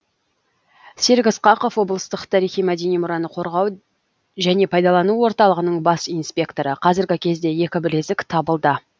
серік ысқақов облыстық тарихи мәдени мұраны қорғау және пайдалану орталығының бас инспекторы қазіргі кезде екі білезік табылды